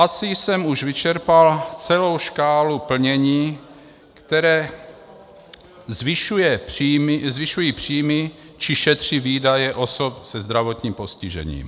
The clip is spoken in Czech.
Asi jsem už vyčerpal celou škálu plnění, které zvyšuje příjmy či šetří výdaje osob se zdravotním postižením.